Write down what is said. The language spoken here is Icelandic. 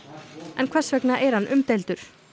en hvers vegna er hann umdeildur